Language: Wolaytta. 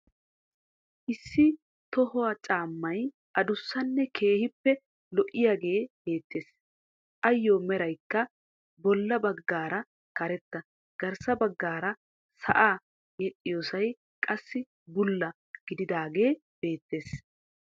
Issi toho caammay adussanne keehippe lo"iyaagee beettees. Ayyo meraykka boolla baggaara karetta garssa baggay sa'aa yedhdhiyosay qassi bulla gididaage beettees.